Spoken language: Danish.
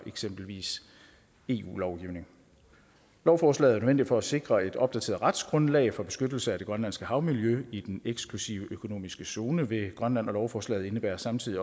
eksempelvis ikke eu lovgivning lovforslaget er nødvendigt for at sikre et opdateret retsgrundlag for beskyttelse af det grønlandske havmiljø i den eksklusive økonomiske zone ved grønland og lovforslaget indebærer samtidig